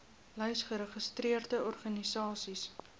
lys geregistreerde organisasies